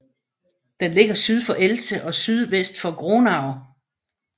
Den ligger syd for Elze og sydvest for Gronau